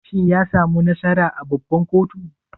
Shin yasamu nasara a babban koto?